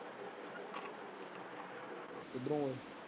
ਕਿਧਰੋ ਓਏ।